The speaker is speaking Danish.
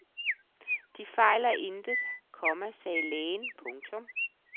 De fejler intet, komma sagde lægen. punktum